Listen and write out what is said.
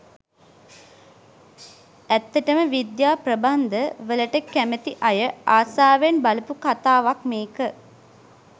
ඇත්තටම විද්‍යා ප්‍රබන්ධ වලට කැමති අය ආසාවෙන් බලපු කතාවක් මේක.